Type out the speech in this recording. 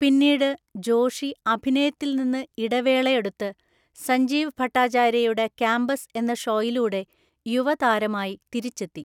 പിന്നീട്, ജോഷി അഭിനയത്തിൽ നിന്ന് ഇടവേള എടുത്ത് സഞ്ജീവ് ഭട്ടാചാര്യയുടെ കാമ്പസ് എന്ന ഷോയിലൂടെ യുവതാരമായി തിരിച്ചെത്തി.